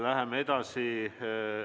Läheme edasi.